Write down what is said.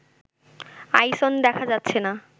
আইসন দেখা যাচ্ছে না